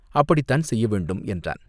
அப்படித்தான் செய்ய வேண்டும் என்றான்.